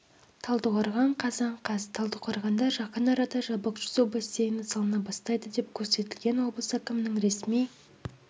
талдықорған қазан қаз талдықорғанда жақын арада жабық жүзу бассейні салына бастайды деп көрсетілген облыс әкімінің ресми